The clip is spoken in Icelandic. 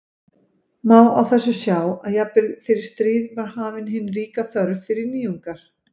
Má á þessu sjá að jafnvel fyrir stríð var hafin hin ríka þörf fyrir nýjungar.